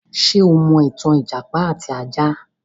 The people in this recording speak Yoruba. Ṣé o mọ ìtàn ìjàpá àti ajá?